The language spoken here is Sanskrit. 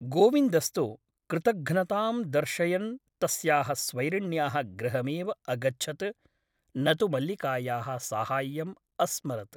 गोविन्दस्तु कृतघ्नतां दर्शयन् तस्याः स्वैरिण्याः गृहमेव अगच्छत् , न तु मल्लिकायाः साहाय्यम् अस्मरत् ।